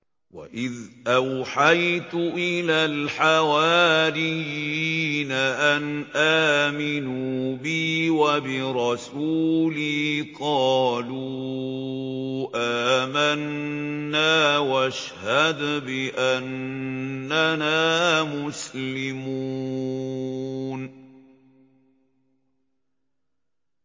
وَإِذْ أَوْحَيْتُ إِلَى الْحَوَارِيِّينَ أَنْ آمِنُوا بِي وَبِرَسُولِي قَالُوا آمَنَّا وَاشْهَدْ بِأَنَّنَا مُسْلِمُونَ